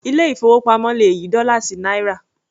Ilé ìfowópamọ́ le yí dọ́là sí náírà.